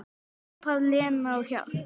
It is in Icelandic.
Hrópaði Lena á hjálp?